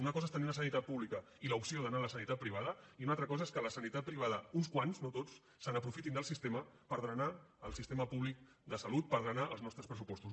una cosa és tenir una sanitat pública i l’opció d’anar a la sanitat privada i una altra cosa és que la sanitat privada uns quants no tots se n’aprofitin del sistema per drenar el sistema públic de salut per drenar els nostres pressupostos